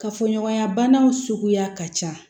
Kafoɲɔgɔnya banaw suguya ka ca